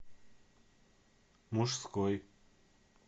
мужской